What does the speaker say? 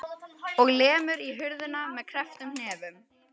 Og lemur í hurðina með krepptum hnefum.